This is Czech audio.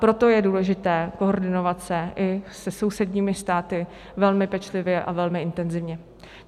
Proto je důležité koordinovat se i se sousedními státy velmi pečlivě a velmi intenzivně.